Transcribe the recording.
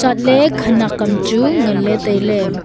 chatley khenek am chu ngan ley tailey.